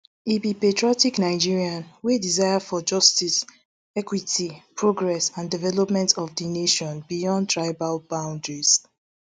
e be patriotic nigerian wey desire for justice equity progress and development of di nation beyond tribal boundaries